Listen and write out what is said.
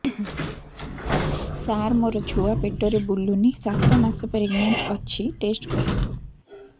ସାର ମୋର ଛୁଆ ପେଟରେ ବୁଲୁନି ସାତ ମାସ ପ୍ରେଗନାଂଟ ଅଛି ଟେଷ୍ଟ କରନ୍ତୁ